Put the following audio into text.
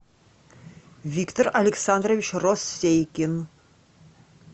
виктор александрович россейкин